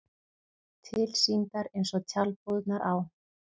Tilsýndar eins og tjaldbúðirnar á